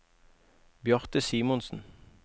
Bjarte Simonsen